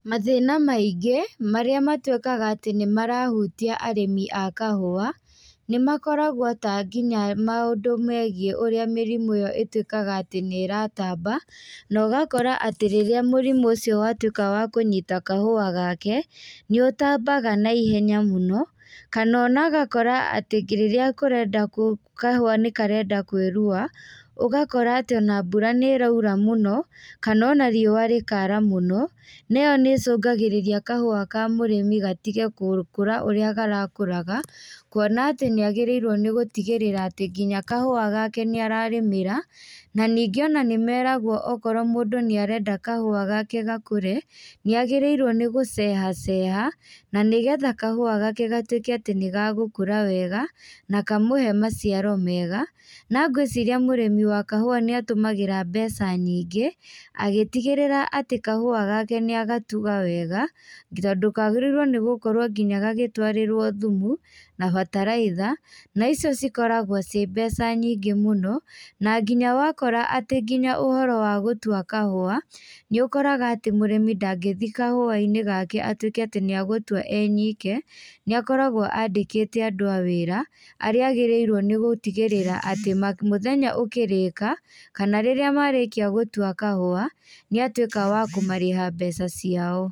Mathĩna maingĩ marĩa matuĩkaga atĩ nĩmarahutia arĩmi a kahũa nĩmakoragwo ta nginya maũndũ megiĩ ũrĩa mĩrimũ ĩyo ĩtuĩkaga atĩ nĩ ĩratamba, na ũgakora atĩ rĩrĩa mũrimũ ũcio watuĩka wa kũnyita kahũa gake, nĩ ũtambaga na ihenya mũno. Kana ũgakora rĩrĩa kurenda, kahũa nĩkarenda kwĩruha, ũgakora atĩ na mbura nĩ ĩraura mũno, kana ona riũa rĩkara mũno na ĩyo, nĩ ĩcũngagĩĩria kahũa ka mũrĩmi gatige gũkũra ũrĩ karakũraga. Kuona atĩ nĩ agĩrĩirwo gutigĩrĩra atĩ nginya kahũa gake nĩ ararĩmira. Na ningĩ nĩmeragwo okorwo mũndũ nĩ arenda kahũa gake gakũre, nĩ agĩrĩirwo nĩ gũcehaceha, na nĩgetha kahũa gake gatuĩke atĩ nĩgagũkũra wega na kamũhe maciaro mega. Na ngwĩciria mũrĩmi wa kahũa nĩ atũmagĩra mbeca nyingĩ agĩtigĩrira atĩ kahũa gake nĩ agatuga wega, tondũ kagĩrĩirwo nginya nĩ gũkorwo gagĩtwarĩrwo thumu na bataraitha. Na icio cikoragwo ciĩ mbeca nyingĩ mũno. Na nginya wakora atĩ nginya ũhoro wa gũtua kahũa, nĩ ũkoraga atĩ mũrĩmi ndangĩthia kahũa-inĩ gake gũtuĩke atĩ nĩ agũtua e nyike, nĩ akoragwo andĩkĩte andũ a wĩra, arĩa agĩrĩirwo nĩ gũtigĩrĩra atĩ mũthenya ũkĩrĩka kana rĩrĩa marĩkia gũtua kahũa, nĩatuĩka wa kũmarĩha mbeca ciao.